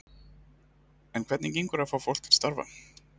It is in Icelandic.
En hvernig gengur að fá fólk til starfa?